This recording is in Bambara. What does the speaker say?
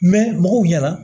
mɔgɔw ɲɛna